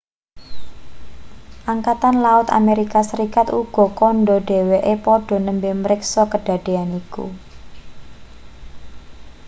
angkatan laut amerika serikat uga kandha dheweke padha nembe mriksa kedadean iku